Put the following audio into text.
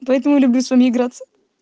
поэтому люблю с вами играться